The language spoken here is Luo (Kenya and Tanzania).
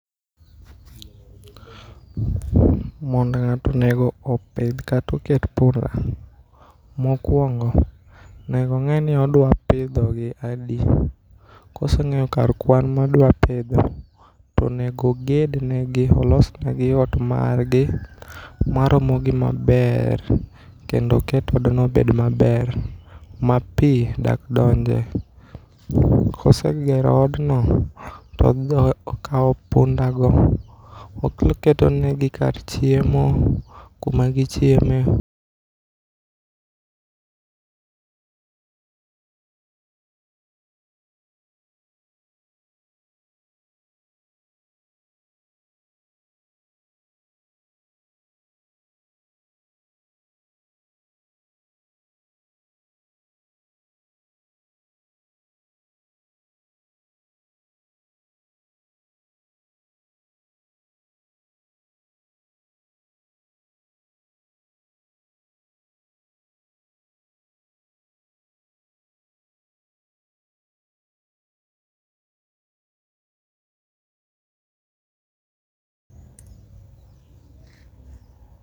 Mondo ng'ato onego opidh kato ket punda. Mokwongo, onego ong'e ni odwa pidho gi adi, koseng'eyo kar kwan modwa pidho, to onego ogedne gi olsne gi ot margi. Maromo gi maber, kendo oket odno obed maber, ma pi dak donje. Kose gero odno, to okawo punda go, oketonegi kar chiemo kuma gichieme.